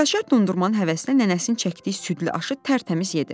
Gülaçar dondurmanın həvəsinə nənəsinin çəkdiyi südlü aşı tərtəmiz yedi.